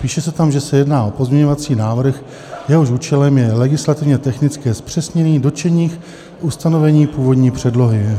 Píše se tam, že se jedná o pozměňovací návrh, jehož účelem je legislativně technické zpřesnění dotčených ustanovení původní předlohy.